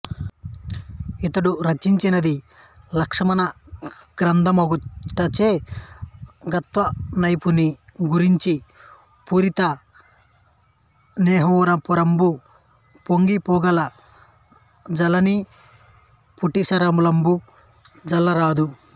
ఈతడు రచియించినది లక్షణగ్రంథమగుటచే గవిత్వనైపుణిని గూర్చి పూరితన్నేహపూరంబు పొంగిపొగల జల్లనిపటీరసలిలంబు చల్లరాదు